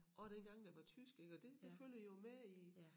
Og dengang det var tysk ik og det det følger jo med i